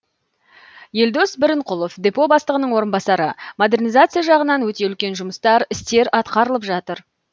елдос бірінқұлов депо бастығының орынбасары модернизация жағынан өте үлкен жұмыстар істер атқарылып жатыр